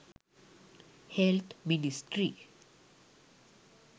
health ministry